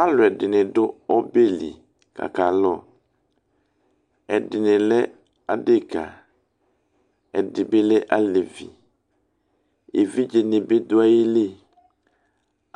alo ɛdi ni do ɔbɛli ko aka lo ɛdi ni lɛ adeka ɛdi bi lɛ alevi evidze ni bi do ayi li